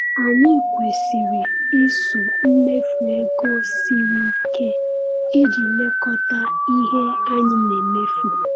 Anyị kwesiri iso mmefu ego siri ike iji lekọta ihe anyị na-emefu.